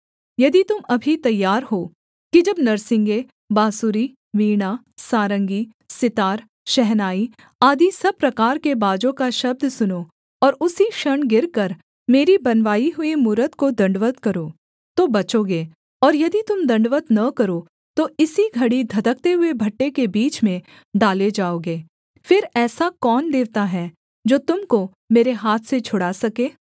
यदि तुम अभी तैयार हो कि जब नरसिंगे बाँसुरी वीणा सारंगी सितार शहनाई आदि सब प्रकार के बाजों का शब्द सुनो और उसी क्षण गिरकर मेरी बनवाई हुई मूरत को दण्डवत् करो तो बचोगे और यदि तुम दण्डवत् न करो तो इसी घड़ी धधकते हुए भट्ठे के बीच में डाले जाओगे फिर ऐसा कौन देवता है जो तुम को मेरे हाथ से छुड़ा सके